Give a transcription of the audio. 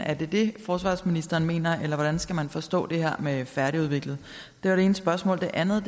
er det det forsvarsministeren mener eller hvordan skal man forstå det her med færdigudviklet det var det ene spørgsmål det andet